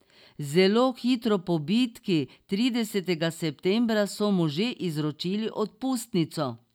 Zelo hitro po bitki, tridesetega septembra, so mu že izročili odpustnico.